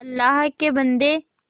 अल्लाह के बन्दे